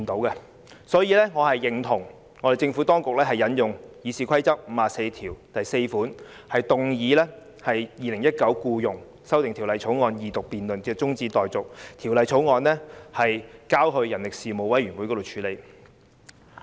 因此，我認同政府當局引用《議事規則》第544條，動議把《條例草案》的二讀辯論中止待續，並把《條例草案》交付人力事務委員會處理。